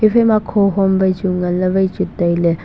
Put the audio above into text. haphaima khohom wai chu nganley wai chu tailey.